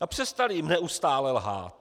a přestali jim neustále lhát?